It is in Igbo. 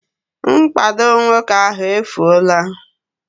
Mkpado nwoke ahụ efuola